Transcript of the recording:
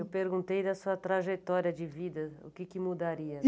Eu perguntei da sua trajetória de vida, o que que mudaria.